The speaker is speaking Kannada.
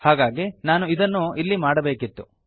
ಹಾಗಾಗಿ ನಾನು ಇದನ್ನು ಇಲ್ಲಿ ಮಾಡಬೇಕಿತ್ತು